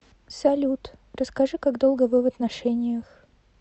салют расскажи как долго вы в отношениях